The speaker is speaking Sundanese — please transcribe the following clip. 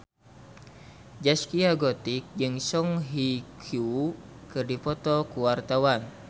Zaskia Gotik jeung Song Hye Kyo keur dipoto ku wartawan